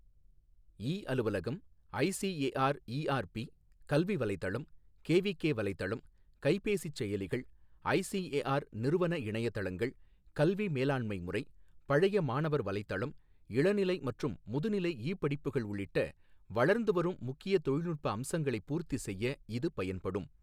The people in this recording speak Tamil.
இ அலுவலகம், ஐசிஏஆர் இஆர்பி, கல்வி வலைதளம், கேவிகே வலைதளம், கைபேசிச் செயலிகள், ஐசிஏஆர் நிறுவன இணையதளங்கள், கல்வி மேலாண்மை முறை, பழைய மாணவர் வலைதளம், இளநிலை மற்றும் முதுநிலை இ படிப்புகள் உள்ளிட்ட வளர்ந்து வரும் முக்கிய தகவல் தொழில்நுட்ப அம்சங்களைப் பூர்த்தி செய்ய இது பயன்படும்.